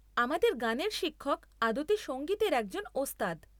আমাদের গানের শিক্ষক আদতে সঙ্গীতের একজন ওস্তাদ।